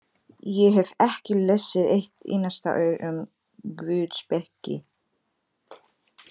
Ég hef ekki lesið eitt einasta orð um guðspeki.